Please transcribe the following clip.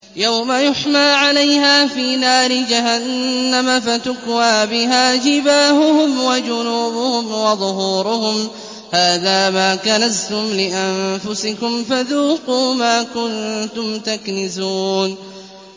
يَوْمَ يُحْمَىٰ عَلَيْهَا فِي نَارِ جَهَنَّمَ فَتُكْوَىٰ بِهَا جِبَاهُهُمْ وَجُنُوبُهُمْ وَظُهُورُهُمْ ۖ هَٰذَا مَا كَنَزْتُمْ لِأَنفُسِكُمْ فَذُوقُوا مَا كُنتُمْ تَكْنِزُونَ